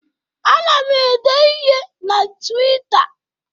Ana m ede ihe na Twịta.